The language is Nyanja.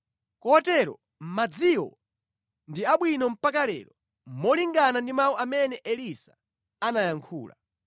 Kotero madziwo ndi abwino mpaka lero, molingana ndi mawu amene Elisa anayankhula.